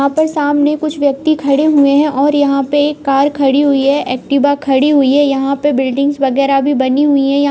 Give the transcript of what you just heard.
यहाँ पर सामने कुछ व्यक्ति खड़े हुए हैं और यहाँ पे एक कार खड़ी हुई है एक्टिवा खड़ी हुई है। यहाँ पे बिल्डिंग्स वगैरा भी बनी हुई हैं। यहाँ --